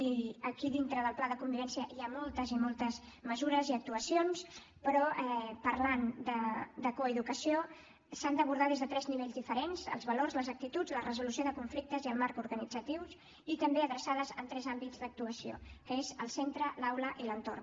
i aquí dintre del pla de convivència hi ha moltes i moltes mesures i actuacions però parlant de coeducació s’han d’abordar des de tres nivells diferents els valors i les actituds la resolució de conflictes i els marcs organitzatius i també adreçades a tres àmbits d’actuació que són el centre l’aula i l’entorn